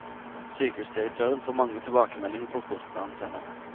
Sykehusdirektøren får mange tilbakemeldinger på kortene han sender.